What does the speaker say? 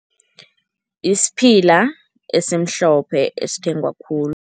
Isiphila esimhlophe esithengwa khulu.